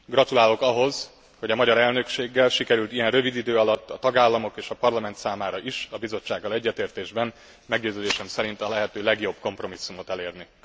Gratulálok ahhoz, hogy a magyar elnökséggel sikerült ilyen rövid idő alatt a tagállamok és a Parlament számára is a Bizottsággal egyetértésben meggyőződésem szerint a lehető legjobb kompromisszumot elérni.